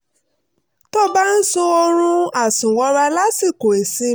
tó bá ń sun oorun àsùnwọra lásìkò ìsinmi